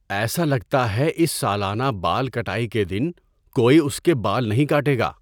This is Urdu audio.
ایسا لگتا ہے اِس سالانہ بال کٹائی کے دن کوئی اس کے بال نہیں کاٹے گا۔